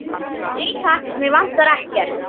Nei, takk, mig vantar ekkert.